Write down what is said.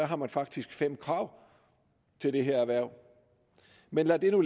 har man faktisk fem krav til dette erhverv men lad nu